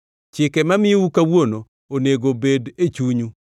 Chike mamiyou kawuono onego bed e chunyu.